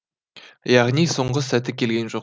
яғни соңғы сәті келген жоқ